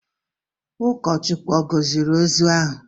Ụkọchukwu ọ̀ gọziri ozu ahụ?